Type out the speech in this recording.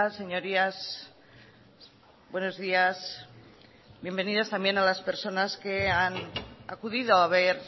señorías buenos días bienvenidas también a las personas que han acudido a ver